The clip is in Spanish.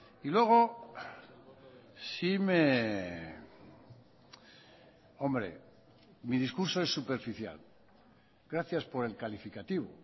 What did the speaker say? y luego sí me hombre mi discurso es superficial gracias por el calificativo